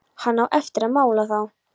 Hann á eftir að mala þá.